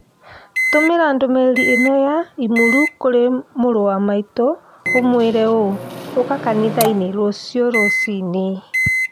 Tũmĩra ndũmĩrĩri ĩno ya i-mīrū kũrĩ mũrũ wa maitũ ũmũire ũũ ũka kanitha inĩ rũcio rũcinĩũ